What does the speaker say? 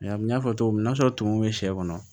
N y'a fɔ cogo min na n'a sɔrɔ tumu bɛ sɛ kɔnɔ